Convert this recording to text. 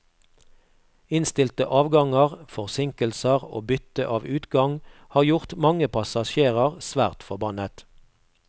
Innstilte avganger, forsinkelser og bytte av utgang har gjort mange passasjerer svært forbannet.